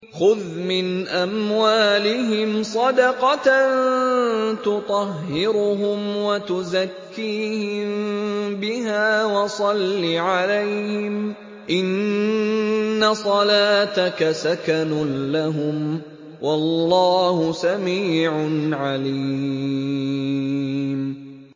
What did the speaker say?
خُذْ مِنْ أَمْوَالِهِمْ صَدَقَةً تُطَهِّرُهُمْ وَتُزَكِّيهِم بِهَا وَصَلِّ عَلَيْهِمْ ۖ إِنَّ صَلَاتَكَ سَكَنٌ لَّهُمْ ۗ وَاللَّهُ سَمِيعٌ عَلِيمٌ